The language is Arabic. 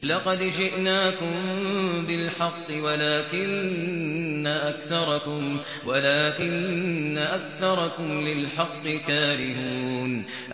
لَقَدْ جِئْنَاكُم بِالْحَقِّ وَلَٰكِنَّ أَكْثَرَكُمْ لِلْحَقِّ كَارِهُونَ